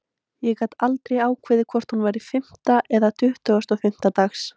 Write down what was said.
Ég gat aldrei ákveðið hvort hún væri fimmta eða tuttugasta og fimmta dags.